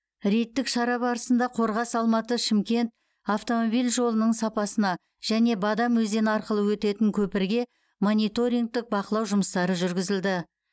рейдтік шара барысында қорғас алматы шымкент автомобиль жолының сапасына және бадам өзені арқылы өтетін көпірге мониторингтік бақылау жұмыстары жүргізілді